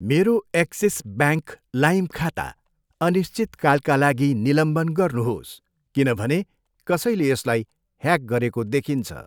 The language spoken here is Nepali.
मेरो एक्सिस ब्याङ्क लाइम खाता अनिश्चितकालका लागि निलम्बन गर्नुहोस् किनभने कसैले यसलाई ह्याक गरेको देखिन्छ।